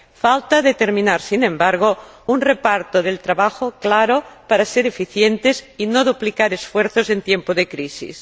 Falta determinar, sin embargo, un reparto del trabajo claro, para ser eficientes y no duplicar esfuerzos en tiempo de crisis.